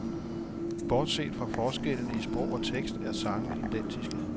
Bortset fra forskellene i sprog og tekst er sangene identiske.